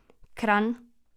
Kranj.